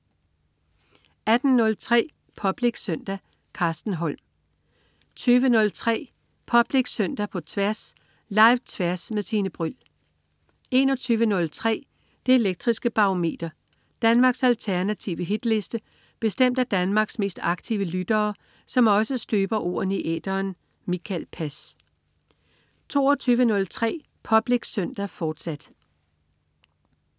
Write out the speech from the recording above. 18.03 Public Søndag. Carsten Holm 20.03 Public Søndag på Tværs. Live-Tværs med Tine Bryld 21.03 Det elektriske Barometer. Danmarks alternative hitliste bestemt af Danmarks mest aktive lyttere, som også støber ordene i æteren. Mikael Pass 22.03 Public Søndag, fortsat